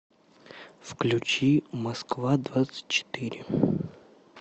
включи москва двадцать четыре